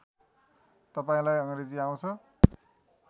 तपाईँलाई अङ्ग्रेजी आउँछ